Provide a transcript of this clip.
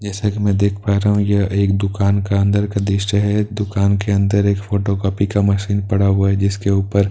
जैसा की मैं देख पा रहा हूँ यह एक दुकान का अंदर का दृशय है दुकान के अंदर एक फोटोकापी का मशीन पड़ा हुआ है जिसके ऊपर पेटियां--